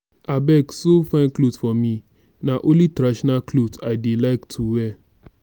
abeg sew fine cloth for me na only traditional cloth i dey like to wear